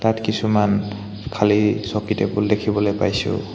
ইয়াত কিছুমান খালী চকী টেবুল দেখিবলৈ পাইছোঁ।